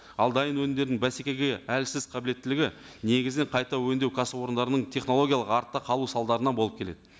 ал дайын өнімдерін бәсекеге әлсіз қабілеттілігі негізінен қайта өңдеу кәсіпорындарының технологиялық артта қалу салдарынан болып келеді